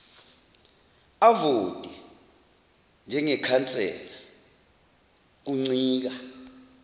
avote njengekhansela kuncika